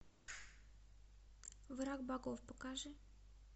враг богов покажи